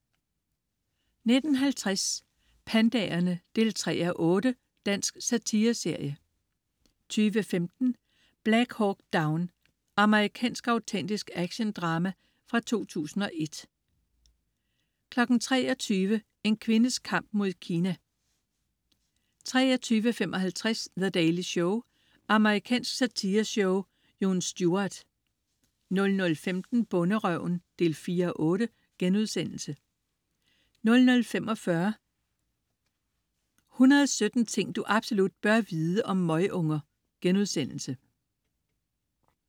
19.50 Pandaerne 3:8. Dansk satireserie 20.15 Black Hawk Down. Amerikansk autentisk actiondrama fra 2001 23.00 En kvindes kamp mod Kina 23.55 The Daily Show. Amerikansk satireshow. Jon Stewart 00.15 Bonderøven 4:8* 00.45 117 ting du absolut bør vide om møgunger*